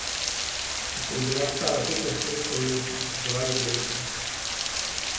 Ko sem bila stala petnajst let, so mi jih pripisovali devetnajst.